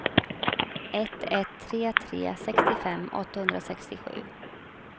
ett ett tre tre sextiofem åttahundrasextiosju